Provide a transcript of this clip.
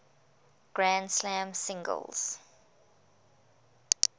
grand slam singles